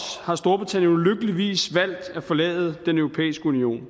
har storbritannien ulykkeligvis valgt at forlade den europæiske union